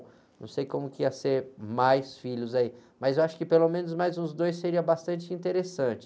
Não sei como que ia ser mais filhos aí, mas eu acho que pelo menos mais uns dois seria bastante interessante.